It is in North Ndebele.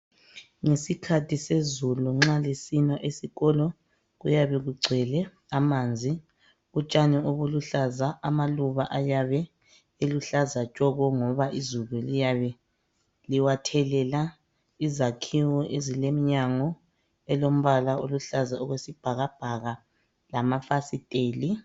Ngesikhathi sezulu nxa lisina esikolo kuyabe kugcwele amanzi utshani obuluhlaza, amaluba ayabe eluhlaza tshoko ngoba izulu liyabe liwathelela, izakhiwo ezileminyango elombala oluhlaza okwesibhaka bhaka lamafasiteli.